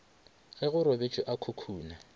ge go robetšwe a khukhuna